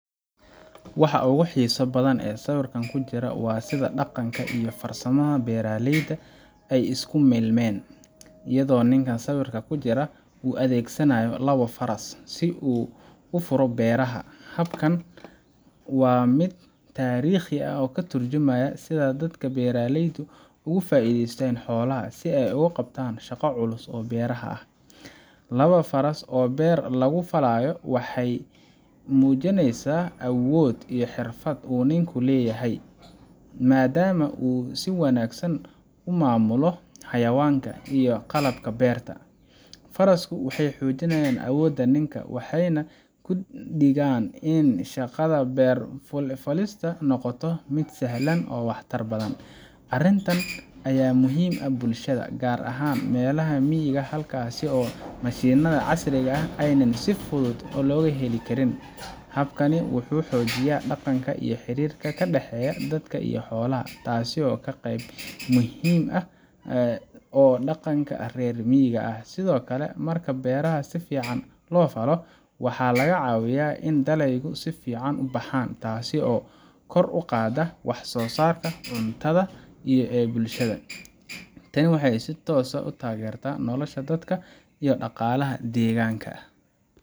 Waxa ugu xiisaha badan ee sawirkan ku jira waa sida dhaqanka iyo farsamada beeralayda ay isku milmeen, iyadoo ninka sawirka ku jira uu adeegsanayo labo faras si uu u furo beeraha. Habkan waa mid taariikhi ah oo ka turjumaya sida dadka beeralaydu uga faa’iidaystaan xoolahooda si ay u qabtaan shaqo culus oo beeraha ah. Laba faras oo beer lagu falayo waxay muujinayaan awood iyo xirfad uu ninku leeyahay, maadaama uu si wanaagsan u maamulo xayawaanka iyo qalabka beerta. Farasku waxay xoojiyaan awooda ninka, waxayna ka dhigaan in shaqada beer falista noqoto mid sahlan oo waxtar badan. Arrintan ayaa muhiim u ah bulshada, gaar ahaan meelaha miyiga ah halkaas oo mashiinada casriga ah aanay si fudud uga heli karin. Habkani wuxuu xoojiyaa dhaqanka iyo xiriirka ka dhexeeya dadka iyo xoolaha, taasoo ah qeyb muhiim ah oo dhaqanka reer miyiga ah. Sidoo kale, marka beeraha si fiican loo falo , waxa ay ka caawisaa in dalagyadu si fiican u baxaan, taasoo kor u qaadda wax soo saarka cuntada ee bulshada. Tani waxay si toos ah u taageertaa nolosha dadka iyo dhaqaalaha deegaanka.